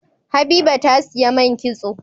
Habiba ta siya man kitso